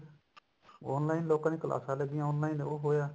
online ਲੋਕਾਂ ਦੀਆਂ ਕਲਾਸਾਂ ਲੱਗਿਆ online ਉਹ ਹੋਇਆ